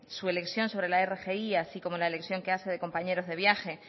su elección sobre la rgi así como la elección que hace de compañeros de viaje